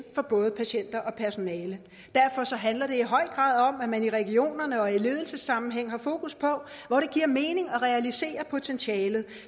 for både patienter og personale derfor handler det i høj grad om at man i regionerne og i ledelsessammenhæng har fokus på hvor det giver mening at realisere potentialet